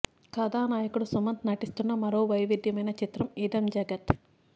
కథానాయకుడు సుమంత్ నటిస్తున్న మరో వైవిధ్యమైన చిత్రం ఇదం జగత్